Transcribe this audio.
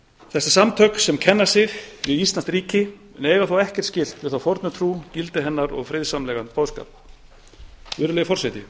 þessi samtök sem kenna sig við íslamskt ríki en eiga þó ekkert skylt við þá fornu trú gildi hennar og friðsamlegan boðskap virðulegi forseti